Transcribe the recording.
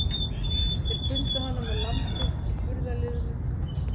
Þeir fundu hana með lambið í burðarliðnum.